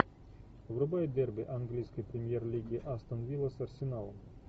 врубай дерби английской премьер лиги астон вилла с арсеналом